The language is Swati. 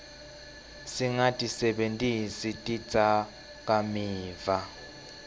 singatisebentisi tidzakamiva